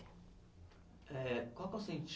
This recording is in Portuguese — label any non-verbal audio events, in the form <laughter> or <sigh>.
Eh, qual que é <unintelligible>